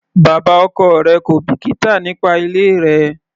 Bàbá ọkọ rẹ̀ kò bìkítà nípa ilé rẹ.